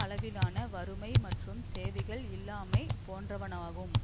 அளவிலான வறுமை மற்றும் சேவைகள் இல்லாமை போன்றவனாகும்